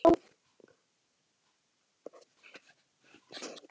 Ósk, hvar er dótið mitt?